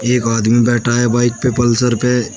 एक आदमी बैठा है बाइक पे पल्सर पे।